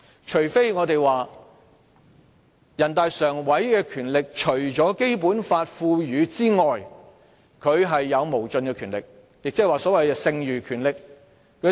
除非我們說人大常委會的權力除了《基本法》賦予外，有無盡的權力，即所謂"剩餘權力"。